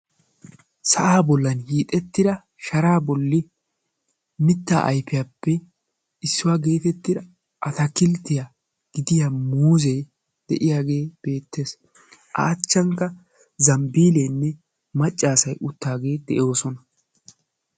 Sa'a bollan hiixettida sharaa bolli mitta aypiyaappe issuwa getettida atakilttiyaa gidiya muuze de'iyagee beettees. A achchankka zambbileenne maccasay uttaage de'oosona.